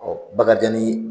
Bakarijan ni